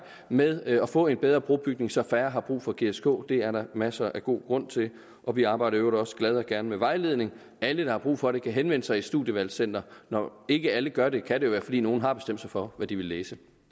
med at få en bedre brobygning så færre har brug for gsk det er der masser af god grund til og vi arbejder i øvrigt også glad og gerne med vejledning alle der har brug for det kan henvende sig i et studievalgscenter og når ikke alle gør det kan det jo være fordi nogle har bestemt sig for hvad de vil læse